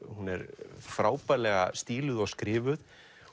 hún er frábærlega stíluð og skrifuð